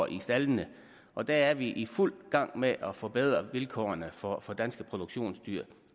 i staldene og der er vi i fuld gang med at forbedre vilkårene for for danske produktionsdyr